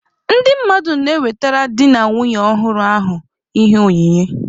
Ndị mmadụ na-ewetere di na nwunye ọhụrụ ahụ ihe onyinye.